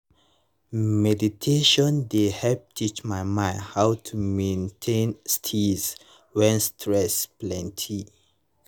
meditation dey help teach my mind how to maintain steeze when stress plenty